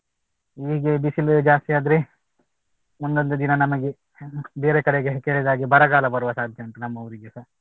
ಹೀಗೆ ಬಿಸಿಲು ಜಾಸ್ತಿ ಆದ್ರೆ ಮುಂದೊಂದು ದಿನ ನಮಗೆ ಬೇರೆ ಕಡೆಗೆ ಕೇಳಿದಾಗ ಬರಗಾಲ ಬರುವ ಸಾಧ್ಯತೆ ಉಂಟು ನಮ್ಮ ಊರಿಗೆಸ.